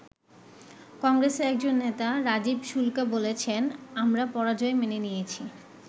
কংগ্রেসের একজন নেতা রাজীব শুল্কা বলেছেন, আমরা পরাজয় মেনে নিয়েছি।